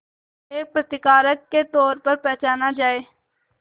एक प्रतिकारक के तौर पर पहचाना जाए